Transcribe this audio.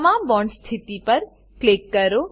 તમામ બોન્ડ સ્થિતિ પર ક્લિક કરો